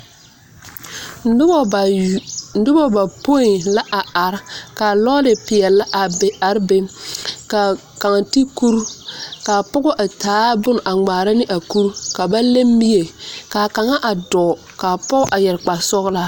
Nuba bapuiɛ la arẽ ka lɔri peɛli a bebe ka kaa te kuri ka pɔgo a taa bun a ngmaara ne a kuri ka ba le mie kaa kanga a duo kaa pou a yere kpare sɔglaa.